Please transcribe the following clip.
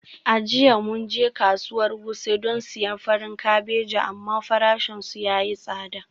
A jiya mun je kasuwar wuse don siyan farin kabeji amma farashinsu ya yi tsada.